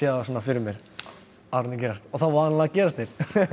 þá svona fyrir mér áður en þeir gerast og þá vanalega gerast þeir